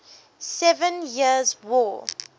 seven years war